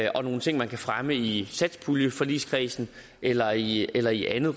og nogle ting man kan fremme i satspuljeforligskredsen eller i eller i andet